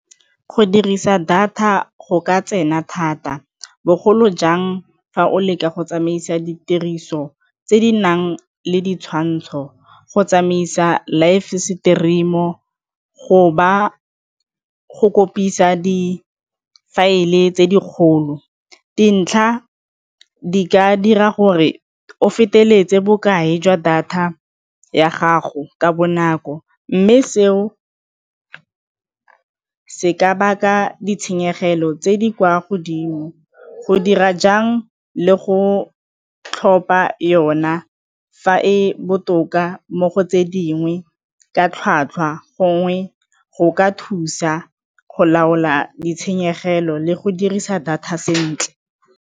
Go dirisa data go ka tsena thata bogolo jang fa o leka go tsamaisa ditiriso tse di nang le ditshwantsho go tsamaisa live stream-o, go ba go kgopisa di faele tse dikgolo dintlha di ka dira gore o feteletseng bokae jwa data ya gago ka bonako mme seo se ka baka ditshenyegelo tse di kwa godimo, go dira jang le go tlhopha yona fa e botoka o ka mo go tse dingwe ka tlhwatlhwa gongwe go ka thusa go laola ditshenyegelo le go dirisa data sentle.